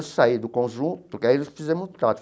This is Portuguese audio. Saí do conjunto, porque aí eles fizeram um trato.